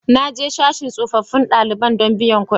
Na je sashin tsofaffin ɗalibai don biyan kuɗi